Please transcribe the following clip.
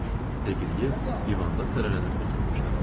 Deqiliyev divanda sərilənib oturmuşdu.